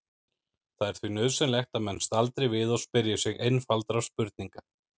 Það er því nauðsynlegt að menn staldri við og spyrji sig einfaldra spurninga